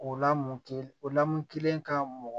O lamu kelen o lamɔn kelen ka mɔgɔ